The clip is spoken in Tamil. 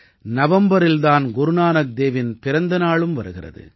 நவம்பரில் தான் குருநானக் தேவின் பிறந்த நாளும் வருகிறது